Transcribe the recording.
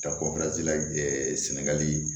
Ka sɛnɛgali